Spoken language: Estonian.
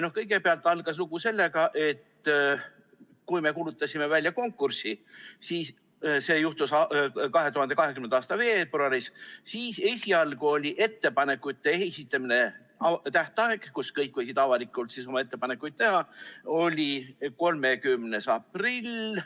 Lugu algas sellega, et kui me kuulutasime välja konkursi , siis esialgu oli ettepanekute esitamise tähtaeg, mis ajaks kõik võisid avalikult oma ettepanekuid teha, 30. aprill.